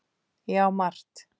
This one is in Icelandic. Já, margt.